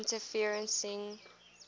interferencing